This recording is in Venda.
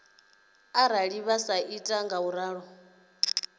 arali vha sa ita ngauralo